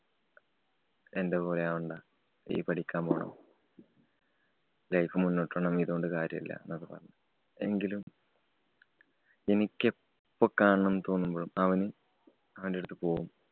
എന്‍റെ പോലെയാവണ്ട. നീ പഠിക്കാന്‍ പോകണം Life മുന്നോട്ട് പോണം. ഇതോണ്ട് കാര്യല്ല, ന്നൊക്കെ പറഞ്ഞ്‌. എങ്കിലും എനിക്കെപ്പോ കാണണംന്ന് തോന്നുമ്പോഴും അവന്‍, അവന്‍റടുത്ത് പോവും.